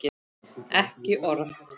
Ekki orð.